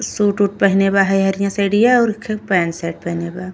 Suit उट पहने बा हे हरिया साइडीया और एखे पैंट शर्ट बा।